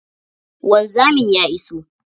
Wanzamin ya iso